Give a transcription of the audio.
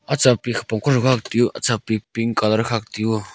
acha pik kopongtho khak teyu acha pik pink colour khak teyu oo.